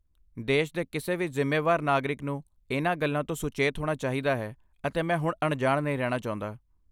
ਦੇਸ਼ ਦੇ ਕਿਸੇ ਵੀ ਜ਼ਿੰਮੇਵਾਰ ਨਾਗਰਿਕ ਨੂੰ ਇਨ੍ਹਾਂ ਗੱਲਾਂ ਤੋਂ ਸੁਚੇਤ ਹੋਣਾ ਚਾਹੀਦਾ ਹੈ, ਅਤੇ ਮੈਂ ਹੁਣ ਅਣਜਾਣ ਨਹੀਂ ਰਹਿਣਾ ਚਾਹੁੰਦਾ।